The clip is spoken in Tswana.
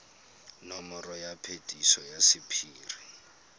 nomoro ya phetiso ya sephiri